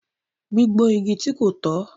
Gbígbó igi ti ko tọ